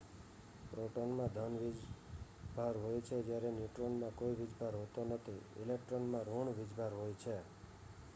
પ્રોટોનમાં ધન વીજ ભાર હોય છે જ્યારે ન્યુટ્રોનમાં કોઈ વીજ ભાર હોતો નથી ઇલેક્ટ્રોનમાં ઋણ વીજ ભાર હોય છે